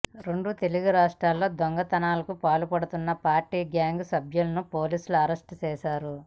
రెండు తెలుగు రాష్ట్రాల్లో దొంగతనాలకు పాల్పడుతున్న పార్ధీ గ్యాంగ్ సభ్యులను పోలీసులు అరెస్ట్ చేశారు